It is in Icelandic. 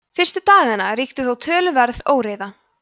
fyrstu daganna ríkti þó töluverð óreiða